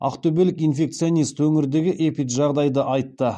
ақтөбелік инфекционист өңірдегі эпиджағдайды айтты